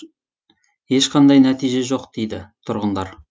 ешқандай нәтиже жоқ дейді тұрғындар